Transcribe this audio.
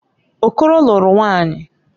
Okoro lụrụ nwaanyị.